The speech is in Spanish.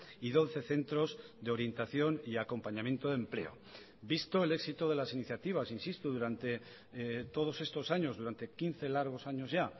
y doce centros de orientación y acompañamiento de empleo visto el éxito de las iniciativas insisto durante todos estos años durante quince largos años ya